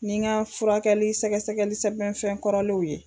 Nin n ka furakɛli sɛgɛsɛgɛli sɛbɛn fɛn kɔrɔlenw ye